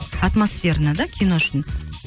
атмосферно да кино үшін